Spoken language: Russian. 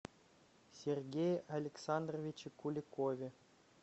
сергее александровиче куликове